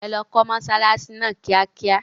Ẹ lọ kó mọsálásí náà kíákíá.